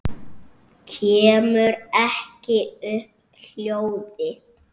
Kemur ekki upp hljóði.